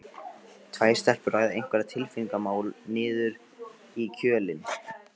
Tvær stelpur ræða einhver tilfinningamál niður í kjölinn.